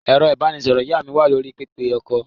Ẹ̀rọ-ìbánisọ̀rọ̀ ìyá mi wà lórí pẹpẹ-okọ̀.